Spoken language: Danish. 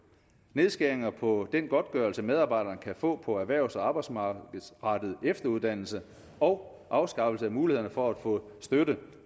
nedskæringer på den godtgørelse medarbejdere kan få på erhvervs arbejdsmarkedsrettet efteruddannelse og afskaffelse af muligheden for at få støtte